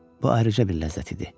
Bu ayrıca bir ləzzət idi.